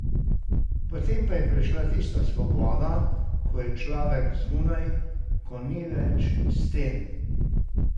Potem pa je prišla tista svoboda, ko je človek zunaj, ko ni več sten ...